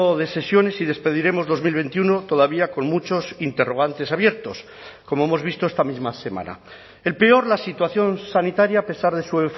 de sesiones y despediremos dos mil veintiuno todavía con muchos interrogantes abiertos como hemos visto esta misma semana el peor la situación sanitaria a pesar de su